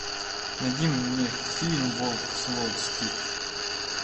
найди мне фильм волк с уолл стрит